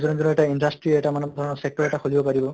নিজৰ নিজৰ এটা industry এটা মানে sector এটা খুলিব পাৰিব